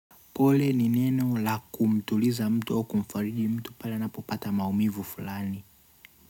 Pole ni neno laku mtuliza mtu au kumfariji mtu pale anapopata maumivu fulani.